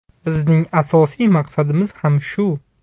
Bizning asosiy maqsadimiz ham shu.